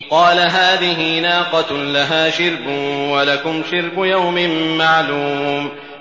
قَالَ هَٰذِهِ نَاقَةٌ لَّهَا شِرْبٌ وَلَكُمْ شِرْبُ يَوْمٍ مَّعْلُومٍ